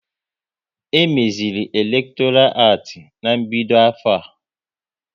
E meziri elektoral acti ná-mbido afọ a